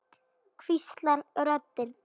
hvíslar röddin.